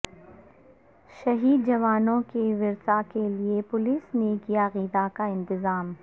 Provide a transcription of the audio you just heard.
شہید جوانوں کے ورثاکیلئے پولیس نے کیا غذا کا انتظام